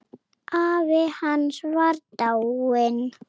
Afi hans var dáinn.